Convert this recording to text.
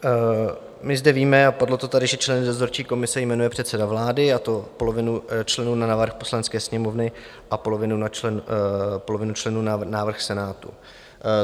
My zde víme, a padlo to tady, že členy dozorčí komise jmenuje předseda vlády, a to polovinu členů na návrh Poslanecké sněmovny a polovinu členů na návrh Senátu.